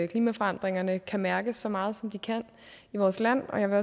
klimaforandringerne kan mærkes så meget som de kan i vores land jeg vil